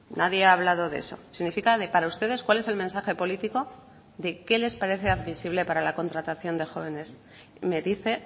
nadie ha hablado de eso significa de para ustedes cuál es el mensaje político de qué les parece admisible para la contratación de jóvenes me dice